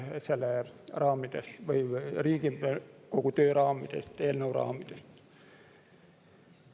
See väljub Riigikogu töö raamidest, eelnõu raamidest.